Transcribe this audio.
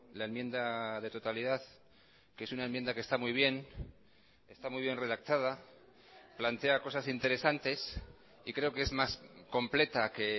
la enmienda de totalidad que es una enmienda que está muy bien está muy bien redactada plantea cosas interesantes y creo que es más completa que